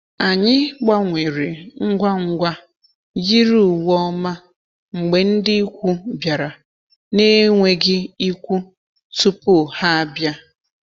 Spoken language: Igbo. Anyị gbanwere ngwa ngwa yiri uwe ọma mgbe ndị ikwu bịara na-enweghị ikwu tupu ha abịa.